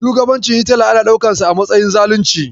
Shugabancin Hitila ana ɗaukansa a matsayin zalunci.